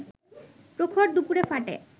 প্রখর দুপুরে ফাটে